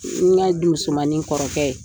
N ka denmusomanni kɔrɔkɛ